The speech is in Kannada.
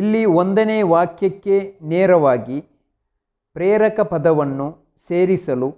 ಇಲ್ಲಿ ಒಂದನೇ ವಾಕ್ಯಕ್ಕೆ ನೇರವಾಗಿ ಪ್ರೇರಕ ಪದವನ್ನು ಸೇರಿಸಲು